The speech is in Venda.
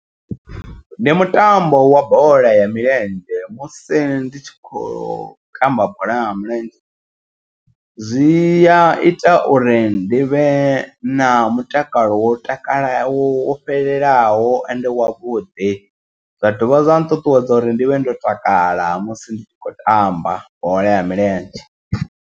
Ndi mutambo wa bola ya milenzhe musi ndi tshi kho tamba bola nga mulenzhe. Zwi ya ita uri ndi vhe na mutakalo wo takala wo fhelelaho ende wavhuḓi. Zwa dovha zwa nṱuṱuwedza uri ndi vhe ndo takala musi ndi tshi khou tamba bola ya milenzhe.